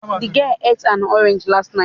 The girl ate an orange last night